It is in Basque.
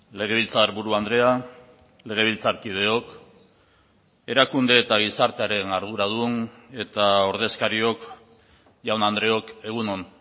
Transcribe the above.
legebiltzarburu andrea legebiltzarkideok erakunde eta gizartearen arduradun eta ordezkariok jaun andreok egun on